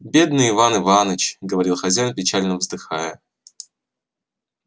бедный иван иванович говорил хозяин печально вздыхая